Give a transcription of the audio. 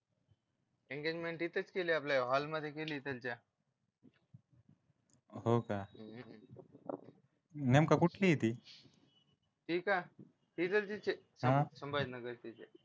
engagement तिथेच केली आपल्या hall मध्ये केली इकडच्या हो का नेमकं कुठली आहे ती ते का संभाजीनगर